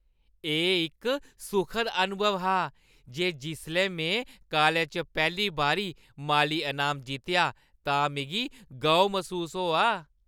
एह्‌ इक सुखद अनुभव हा ते जिसलै में कालज च पैह्‌ली बारी माली अनाम जित्तेआ तां मिगी गौह् मसूस होआ।